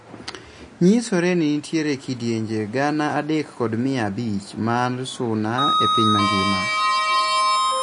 Nyisore ni nitiere kidienje gana adek kod mia abich mar suna epiny mangima.